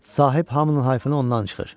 Sahib hamının hayfını ondan çıxır.